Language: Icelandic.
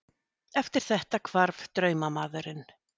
Eftir þetta hvarf draumamaðurinn.